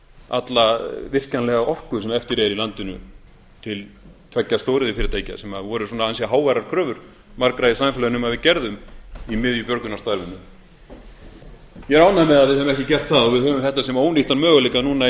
alla virkjanlega orku sem eftir er í landinu til tveggja stóriðjufyrirtækja sem voru ansi háværar kröfur margra í samfélaginu um að við gerðum í miðju björgunarstarfinu ég er ánægður með að við höfum ekki gert það og að við höfum þetta sem ónýttan möguleika núna í